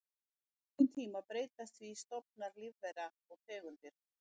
Á löngum tíma breytast því stofnar lífvera og tegundir.